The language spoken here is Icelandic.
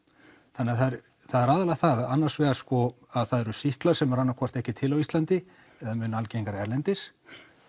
þannig það er aðallega það annarsvegar að það eru sýklar sem eru ekki til á Íslandi eða mun algengari erlendis